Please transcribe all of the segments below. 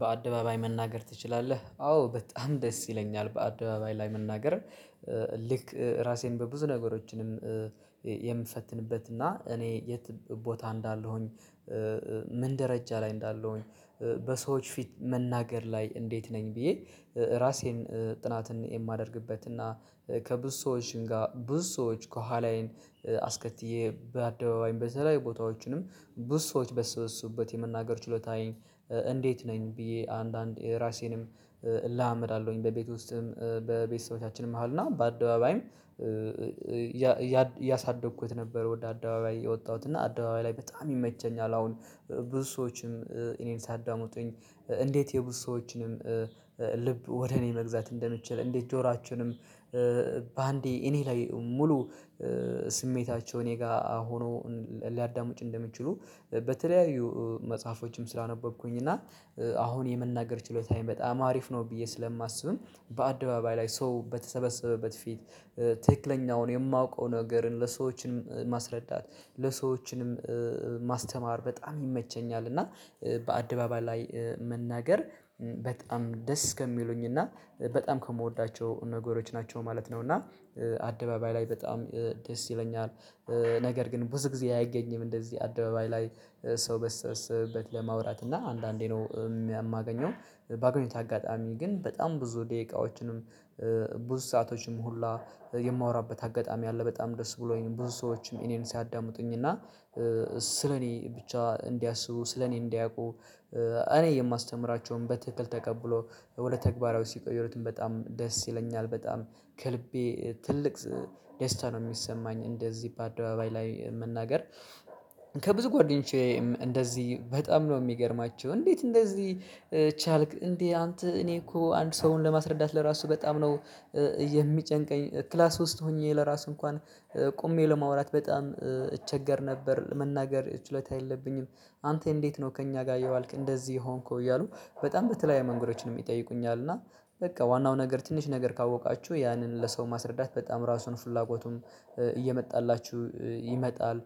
በአደባባይ መናገር ትችላለህ? አዎ በጣም ደስ ይለኛል በአደባባይ ላይ መናገር። ልክ ራሴን በብዙ ነገሮችንም የምፈትንበትና እኔ የት ቦታ እንዳለሁኝ ምን ደረጃ ላይ እንዳለሁኝ፣ በሰዎች ፊት መናገር ላይ እንዴት ነኝ ብዬ ራሴን ጥናትን የማደርግበት እና ከብዙ ሰዎችም ጋር ብዙ ሰዎች ከኋላዬን አስከትዬ በአደባባይ በተለያዩ ቦታዎችንም ብዙ ሰዎች በሰበሱበት የመናገር ችሎታዬን እንዴት ነኝ ብዬ አንዳንዴ ራሴንም እለማመዳለሁኝ በቤት ውስጥም በቤተሰቦቻችንም መሃል እና በአደባባይም እያሳደኩት ነበር ወደ አደባባይ የወጣሁት እና አደባባይ ላይ በጣም ይመቸኛል አሁን ብዙ ሰዎችም እኔን ሲያዳምጡኝ እንዴት የብዙ ሰዎችንም ልብ ወደ እኔ መግዛት እንደምችል እንዴት ጆሯቸውንም በአንዴ እኔ ላይ ሙሉ ስሜታቸው እኔ ጋር ሆኖ ሊያዳምጡ እንደሚችሉ በተለያዩ መጽሐፎችም ስላነበብኩኝ እና አሁን የመናገር ችሎታዬም በጣም አሪፍ ነው ብዬ ስለማስብም በአደባባይ ላይ ሰው በተሰበሰበበት ፊት ትክክለኛውን የማውቀውን ነገርን ለሰዎችንም ማስረዳት ለሰዎችንም ማስተማር በጣም ይመቸኛል እና በአደባባይ ላይ መናገር በጣም ደስ ከሚሉኝ እና በጣም ከምወዳቸው ነገሮች ናቸው ማለት ነው እና አደባባይ ላይ በጣም ደስ ይለኛል። ነገር ግን ብዙ ጊዜ አይገኝም እንደዚህ አደባባይ ላይ ሰው በተሰበሰበበት ለማውራት እና አንዳንዴ ነው የማገኘው በአገኘሁት አጋጣሚ ግን በጣም ብዙ ደቂቃዎችንም ብዙ ሰአቶችንም ሁላ የማወራበት አጋጣሚ አለ በጣም ደስ ብሎኝ ብዙ ሰዎችም እኔን ሲዳምጡኝ እና ስለኔ ብቻ እንዲያስቡ ስለኔ እንዲያውቁ እኔ የማስተምራቸውን በትክክል ተቀብሎ ወደ ተግባራዊ ሲቀይሩትም በጣም ደስ ይለኛል በጣም ከልቤ ትልቅ ደስታ ነው የሚሰማኝ እንደዚህ በአደባባይ ላይ መናገር ከብዙ ጓደኞቼም እንደዚህ በጣም ነው የሚገርማቸው። እንዴት እንደዚህ ቻልክ እንዴ አንተ እኔ እኮ አንድ ሰውን ለማስረዳት ለራሱ በጣም ነው የሚጨንቀኝ ክላስ ውስጥ ሆኜ ለራሱ እንኳን ቆሜ ለማውራት በጣም እቸገር ነበር መናገር ችሎታ የለብኝም አንተ እንዴት ነው ከእኛ ጋር እየዋልክ እንደዚህ የሆንከው? እያሉ በጣም በተለያየ መንገዶችንም ይጠይቁኛል እና በቃ ዋናው ነገር ትንሽ ነገር ካወቃችሁ ያንን ለሰው ማስረዳት በጣም ራሱን ፍላጎቱም እየመጣላችሁ ይመጣል።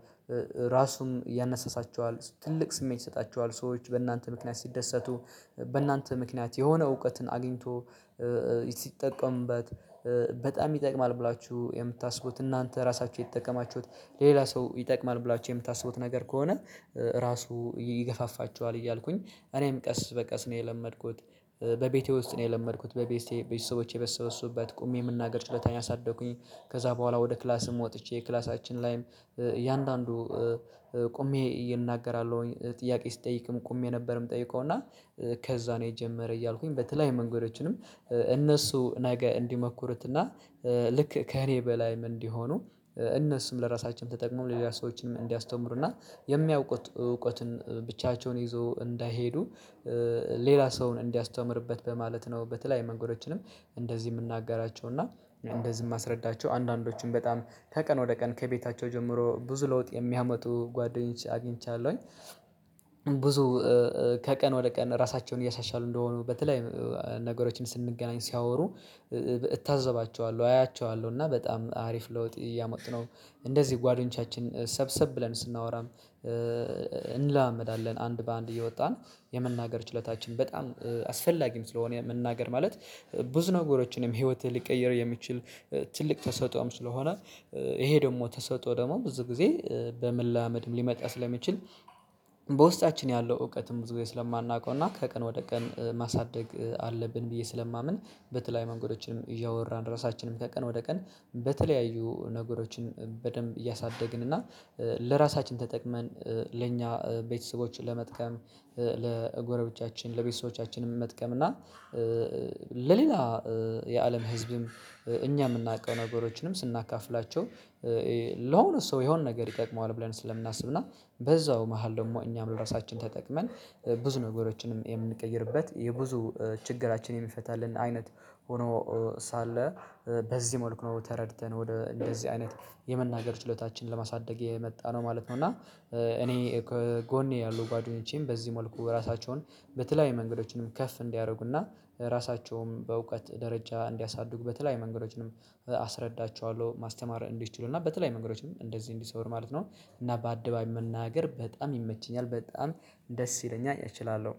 ራሱም ያነሳሳቸኅል ትልቅ ስሜት ይሰጣችኅል። ሰዎች በእናንተ ምክንያት ሲደሰቱ በእናንተ ምክንያት የሆነ እውቀትን አግኝተው ሲጠቀምበት በጣም ይጠቅማል ብላችሁ የምታስቡት እናንተ ራሳችሁ የተጠቀማችሁት ሌላ ሰው ይጠቅማል ብላችሁ የምታስቡት ነገር ከሆነ ራሱ ይገፋፋችኋል እያልኩኝ እኔም ቀስ በቀስ ነው የለመድኩት። በቤቴ ውስጥ ነው የለመድኩት። በቤቴ ቤተሰቦቼ በተሰበሰቡበት ቁሜ የመናገር ችሎታዬን አሳደኩኝ። ከዛ በኋላ ወደ ክላስም ወጥቼ ክላሳችን ላይም እያንዳንዱ ቆሜ እናገራለሁኝ ጥያቄ ስጠይቅም ቆሜ ነበርም ምጠይቀው እና ከዛ ነው የጀመረ እያልኩኝ በተለያየ መንገዶችንም እነሱ ነገ እንዲሞክሩትና ልክ ከእኔ በላይም እንዲሆኑ እነሱም ለራሳቸውም ተጠቅመው ለሌላ ሰዎችም እንዲያስተምሩና የሚያውቁት እውቀትም ብቻቸውን ይዘው እንዳይሄዱ ሌላ ሰውን እንዲያስተምሩበት በማለት ነው በተለያየ መንገዶችንም እንደዚህ የምናገራቸው እና እንደዚህ ማስረዳቸው አንዳንዶቹም በጣም ከቀን ወደ ቀን ከቤታቸው ጀምሮ ብዙ ለውጥ የሚያመጡ ጓደኞችን አግኝቻለሁኝ። ብዙ ከቀን ወደ ቀን ራሳቸውን እያሻሻሉ እንደሆኑ በተለያዮ ነገሮችም ስንገናኝ ሲያወሩ እታዘባቸዋለሁ፣ አያቸዋለሁ እና በጣም አሪፍ ለውጥ እያመጡ ነው። እንደዚህ ጓደኞቻችን ሰብሰብ ብለን ስናወራም እንለማመዳለን አንድ በአንድ እየወጣን የመናገር ችሎታችን በጣም አስፈላጊም ስለሆነም መናገር ማለት ብዙ ነገሮችንም ህይወትን ሊቀይር የሚችል ትልቅ ተሰጥኦም ስለሆነ ይሄ ደግሞ ተሰጥኦ ደግሞ ብዙ ጊዜ በመለማመድም ሊመጣ ስለሚችል በውስጣችን ያለው እውቀትም ብዙ ጊዜ ስለማናውቀው እና ከቀን ወደ ቀን ማሳደግ አለብን ብዬ ስለማምን በተለያዩ መንገዶችም እያወራን ራሳችንን ከቀን ወደ ቀን በተለያዩ ነገሮችን በደንብ እያሳደግን እና ለራሳችን ተጠቅመን ለኛ ቤተሰቦች ለመጥቀም ለጎረቤቶቻችን ለቤተሰቦቻችንም መጥቀም እና ለሌላ የአለም ህዝብም እኛ የምናውቀው ነገሮችንም ስናካፍላቸው ለሆነ ሰው የሆነ ነገር ይጠቅመዋል ብለን ስለምናስብና በዛው መሃል ደግሞ እኛም ራሳችን ተጠቅመን ብዙ ነገሮችንም የምንቀይርበት የብዙ ችግራችን የሚፈታልን አይነት ሆኖ ሳለ በዚህ መልኩ ነው ተረድተን ወደ እንደዚህ አይነት የመናገር ችሎታችንን ለማሳደግ የመጣነው ማለት ነው እና እኔ ከጎኔ ያሉ ጓደኞቼም በዚህ መልኩ ራሳቸውን በተለያዩ መንገዶችንም ከፍ እንዲያደርጉና ራሳቸውንም በእውቀት ደረጃ እንዲያሳድጉ በተለይ መንገዶችንም አስረዳቸዋለሁ ማስተማር እንዲችሉ እና በተለያዩ መንገዶችም እንደዚህ እንዲሰሩ ማለት ነው እና በአደባባይ መናገር በጣም ይመቸኛል በጣም ደስ ይለኛል እችላለሁ።